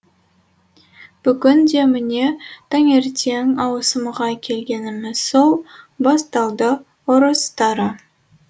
бүгін де міне таңертең ауысымға келгеніміз сол басталды ұрсыстары